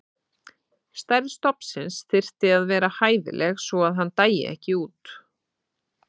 Stærð stofnsins þyrfti að vera hæfileg svo að hann dæi ekki út.